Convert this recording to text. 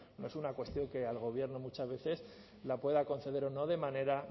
no es una cuestión que al gobierno muchas veces la pueda conceder o no de manera